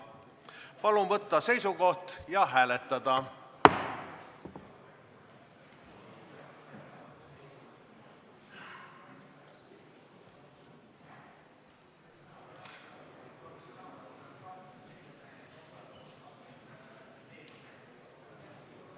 Palun võtta seisukoht ja hääletada!